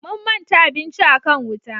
Mun manta abinci a kan wuta